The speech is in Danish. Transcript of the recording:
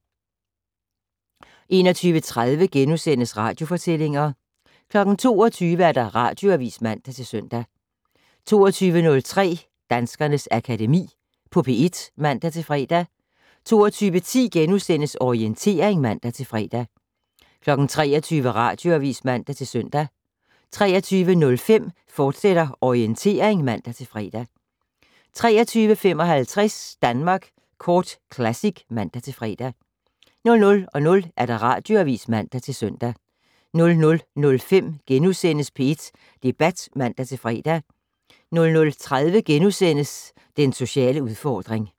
21:30: Radiofortællinger * 22:00: Radioavis (man-søn) 22:03: Danskernes Akademi på P1 (man-fre) 22:10: Orientering *(man-fre) 23:00: Radioavis (man-søn) 23:05: Orientering, fortsat (man-fre) 23:55: Danmark Kort Classic (man-fre) 00:00: Radioavis (man-søn) 00:05: P1 Debat *(man-fre) 00:30: Den sociale udfordring *